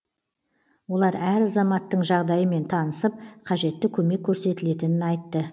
олар әр азаматтың жағдайымен танысып қажетті көмек көрсетілетінін айтты